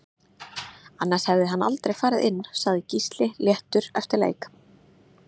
Annars hefði hann aldrei farið inn Sagði Gísli léttur eftir leik